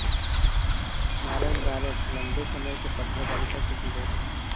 नारायण बारेठ लंबे समय से पत्रकारिता से जुड़े हैं